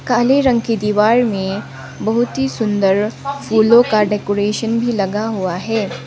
काले रंग की दीवार में बहुत ही सुंदर फूलों का डेकोरेशन भी लगा हुआ है।